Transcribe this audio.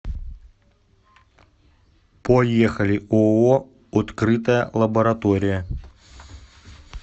поехали ооо открытая лаборатория